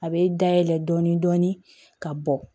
A bɛ dayɛlɛ dɔɔnin dɔɔnin ka bɔ